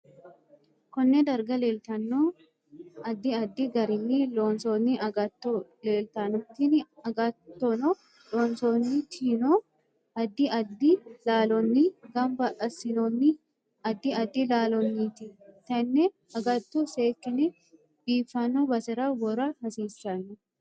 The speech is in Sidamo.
Konne darga leeltanno addi addi garinni loonsooni agatto leeltanno tini agattonloosantinohu addi addi laallonni ganba asinooni addi addi laaloniiti tenne agatto seekine biifanno basera wora hasiisanno